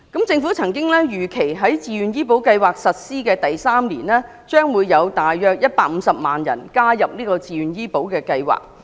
政府曾經預期，在自願醫保計劃實施第三年，將有大約150萬人加入計劃。